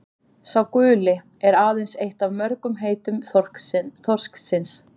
„sá guli“ er aðeins eitt af mörgum heitum þorsksins